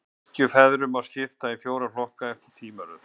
Kirkjufeðrunum má skipta í fjóra hópa, eftir tímaröð.